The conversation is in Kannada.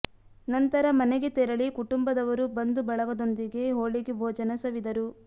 ನಂತರ ಮನೆಗೆ ತೆರಳಿ ಕುಟುಂಬದವರು ಬಂಧು ಬಳಗದೊಂದಿಗೆ ಹೋಳಿಗೆ ಭೋಜನ ಸವಿದರು